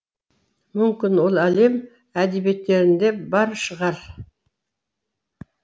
мүмкін ол әлем әдебиеттінде бар шығар